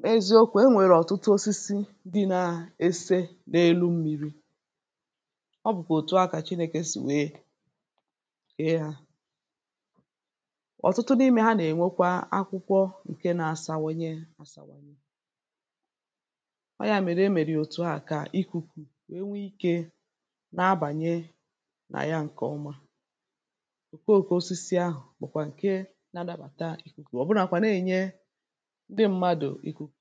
N'eziokwu̇ enwèrè ọ̀tụtụ osisi ndị nȧ ese n’elu mmi̇ri. ọ bụ̀kwà òtù o akà chinėkè sì wee kẹ hȧ. ọ̀tụtụ n’imė ha nà-ènwekwa akwụkwọ ǹke nȧ-àsawanye àsànwànyẹ. ọ yȧ mèrè emèrè òtù ahụ̀ kà ikùkù wèe nwee ikė na-abànyè nà ya ǹkè ọma. òkùo òkù osisi ahụ̀ bụ̀kwà ǹke na-adabàta ìkùkù ọ̀bụnàkwà na-ènye ndị ṁmȧdụ̀ ikuku.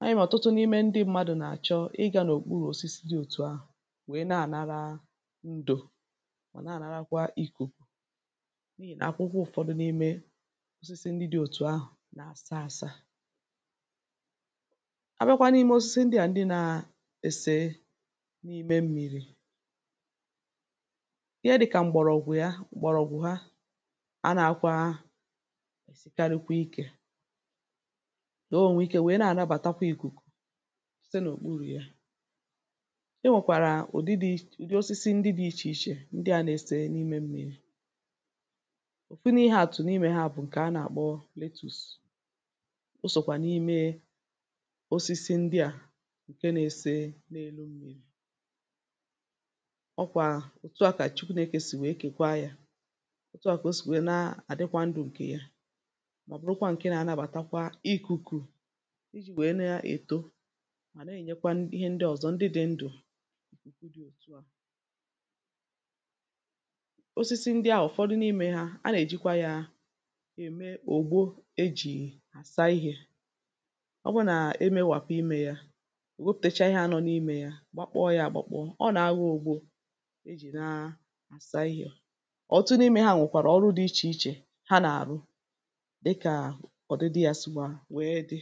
anyị mà ọ̀tụtụ n’ime ndị ṁmȧdụ̀ nà-àchọ ịgȧ n’òkpuru osisi dị̇ òtù ahụ̀ wèe na-ànara ndù mà na-ànakwa ikuku n’ihì nà akwụkwọ ụ̀fọdụ n’ime osisi ndị dị̇ òtù ahụ̀ nà-asa ȧsa. A bịakwa n’ime osisi ndị à ndị nȧ-èsè n’ime mmi̇ri. Ihe dị̇kà m̀gbọ̀rọ̀gwụ̀ ya m̀gbọ̀rọ̀gwụ̀ ha a nakwȧa èsìkarịkwa ikė. o nwè ike nwèe na-ànabàtakwa ìkùkù, site n’òkpuru̇ yȧ. E nwèkwàrà ụ̀dị dị̇ich ụ̀dị osisi ndị dị̇ ichè ichè ndị à nȧ-ese n’ime mmi̇ri.̇ Ofu n’ihe àtụ̀ n’ime ha bụ̀ ǹkè a nà-àkpọ Letus, o sòkwà n’ime osisi ndị à ǹke na-ese n’elu mmi̇ri.̇ ọ̀ kwà òtùa kà à Chụkwụnẹke sì nwèe kèkwa yȧ. òtùa kà o sì nwèrè na-àdịkwa ndù ǹkè ya, ma bụrụkwa nkè na-anabatakwa ikuku ịjì nwèe na-èto mà na-ènyekwa n ihe ndị ọ̀zọ ndị dị̇ ndụ .̀ Osisi ndị a ụ̀fọdụ n’imė ha a nà-èjikwa yȧ ème ògbo e jì àsa ihė, ọ bụ nà-emėwàpụ̀ imė yȧ, ewepụ̀tacha ihe a nọ n’imė yȧ gbakpọ̇ yȧ gbakpọ.̇ ọ nà-agho ogbȯ e jì na àsa ihė. ọ̀ tutụ n'imė ha nwèkwàrà ọrụ dị ichè ichè ha nà-àrụ dịka odidi ya sikwa wee di.